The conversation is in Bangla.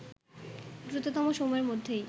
দ্রুততম সময়ের মধ্যেই